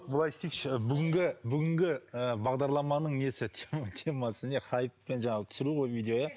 былай істейікші бүгінгі бүгінгі ііі бағдарламаның несі темасы не хайп пен түсіру ғой видео иә